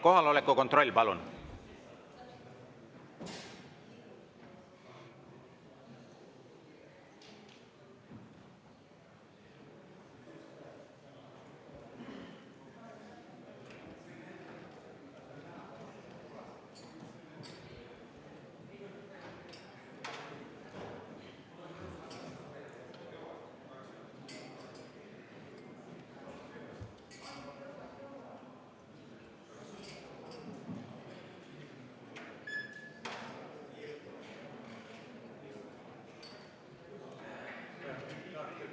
Kohaloleku kontroll, palun!